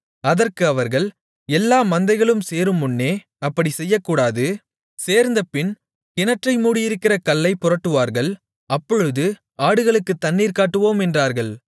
அதற்கு அவர்கள் எல்லா மந்தைகளும் சேருமுன்னே அப்படிச் செய்யக்கூடாது சேர்ந்தபின் கிணற்றை மூடியிருக்கிற கல்லைப் புரட்டுவார்கள் அப்பொழுது ஆடுகளுக்குத் தண்ணீர் காட்டுவோம் என்றார்கள்